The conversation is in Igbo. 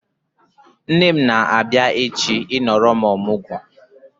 Nne m na-abia echi I nọrọ m ọmụgwọ